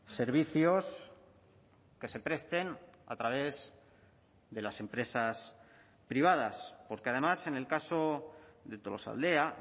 servicios que se presten a través de las empresas privadas porque además en el caso de tolosaldea